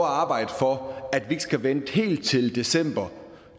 at arbejde for at vi ikke skal vente helt til december